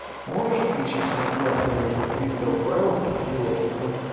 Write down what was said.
можешь включить трансляцию между кристал пэлас и лестером